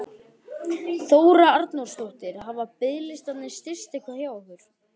Þóra Arnórsdóttir: Hafa biðlistarnir styst eitthvað hjá ykkur?